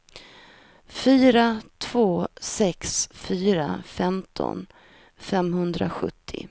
fyra två sex fyra femton femhundrasjuttio